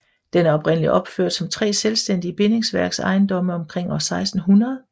Den er oprindeligt opført som 3 selvstændige bindingsværk ejendomme omkring år 1600